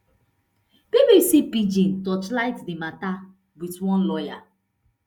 bbc pidgin torchlight di mata wit one lawyer